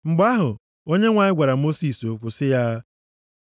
Mgbe ahụ, Onyenwe anyị gwara Mosis okwu sị ya,